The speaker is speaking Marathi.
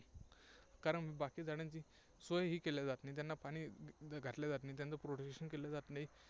कारण बाकी झाडांची सोय ही केल्या जात नाही, त्यांना पाणी घातल्या जात नाही, त्यांचं protection केल्या जात नाही.